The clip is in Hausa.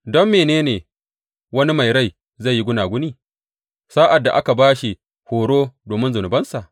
Don mene ne wani mai rai zai yi gunaguni sa’ad da aka ba shi horo domin zunubansa?